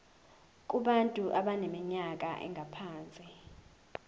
kubantu abaneminyaka engaphansi